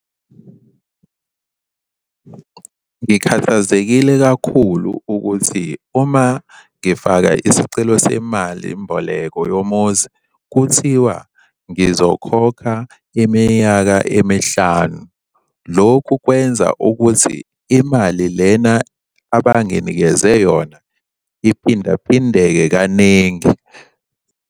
Ngikhathazekile kakhulu ukuthi uma ngifaka isicelo semali mboleko yomuzi kuthiwa ngizokhokha iminyaka emihlanu. Lokhu kwenza ukuthi imali lena abanginikeze yona iphindaphindeke kaningi.